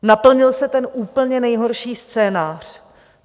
Naplnil se ten úplně nejhorší scénář.